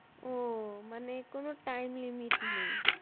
ও মানে কোনো time limit নেই